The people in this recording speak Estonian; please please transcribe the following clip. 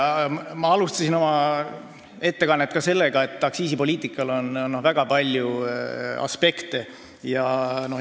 Ma alustasin oma ettekannet tõdemusega, et aktsiisipoliitikal on väga palju aspekte.